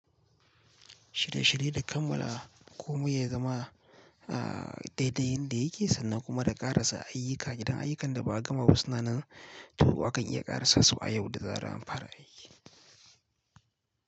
Shirye-shirye da kammala, komai ya zama a daidai yanda yake sannan kuma da ƙarasa ayyuka, idan ayyukan da ba a gama ba suna nan, to akan iya ƙarasasu a yau da zaran an fara aiki.